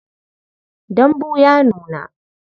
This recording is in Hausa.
Dambu ya nuna.